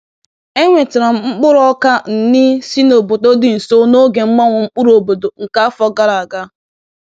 Enwetara m mkpụrụ ọka nni si n’obodo dị nso n’oge mgbanwe mkpụrụ obodo nke afọ gara aga.